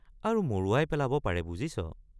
আৰু মৰোৱাই পেলাব পাৰে বুজিছ।